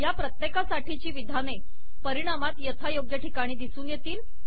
या प्रत्येका साठीची विधाने परिणामात यथायोग्य ठिकाणी दिसून येतील